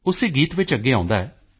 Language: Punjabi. ਉਸੇ ਗੀਤ ਵਿੱਚ ਅੱਗੇ ਆਉਂਦਾ ਹੈ